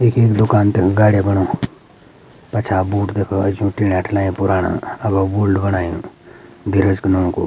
यखी मु दूकान तेगी गाडी बनो पछा बोर्ड देखणो छ ठीला ठिलयां पुराण अबो बोल्ड बणायु धीरज कु नौ कु।